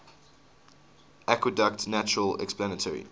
adequate natural explanatory